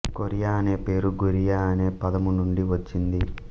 Korea అనే పేరు Goryeo అనే పదము నుండి వచ్చింది